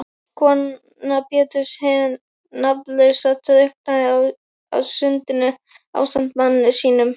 Kona Péturs hin nafnlausa drukknaði á sundinu ásamt manni sínum.